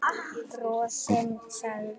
Bros sem sagði